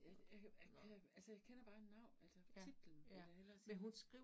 Ja, ja jeg altså jeg kender bare altså titlen vil jeg hellere sige